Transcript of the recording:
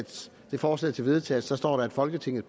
det forslag til vedtagelse står der at folketinget